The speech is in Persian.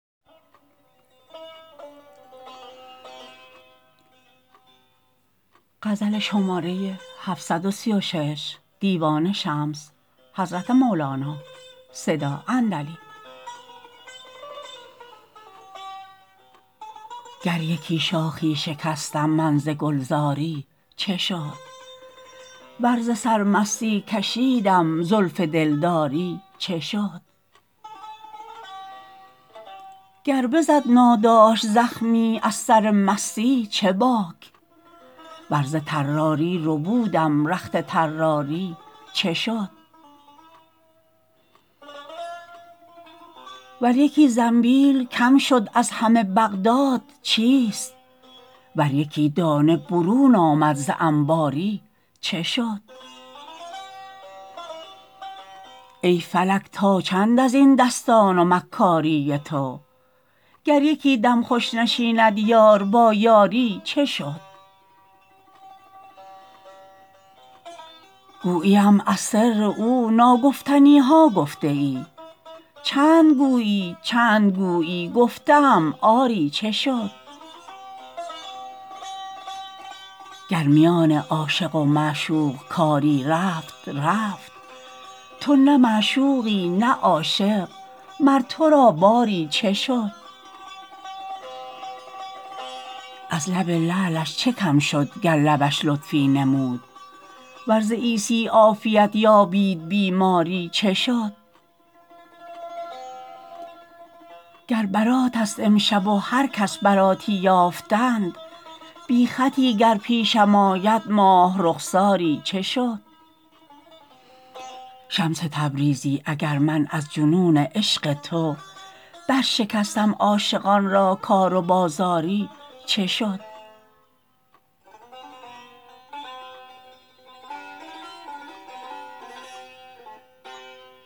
گر یکی شاخی شکستم من ز گلزاری چه شد ور ز سرمستی کشیدم زلف دلداری چه شد گر بزد ناداشت زخمی از سر مستی چه باک ور ز طراری ربودم رخت طراری چه شد ور یکی زنبیل کم شد از همه بغداد چیست ور یکی دانه برون آمد ز انباری چه شد ای فلک تا چند از این دستان و مکاری تو گر یکی دم خوش نشیند یار با یاری چه شد گوییم از سر او ناگفتنی ها گفته ای چند گویی چند گویی گفته ام آری چه شد گر میان عاشق و معشوق کاری رفت رفت تو نه معشوقی نه عاشق مر تو را باری چه شد از لب لعلش چه کم شد گر لبش لطفی نمود ور ز عیسی عافیت یابید بیماری چه شد گر براتست امشب و هر کس براتی یافتند بی خطی گر پیشم آید ماه رخساری چه شد شمس تبریزی اگر من از جنون عشق تو برشکستم عاشقان را کار و بازاری چه شد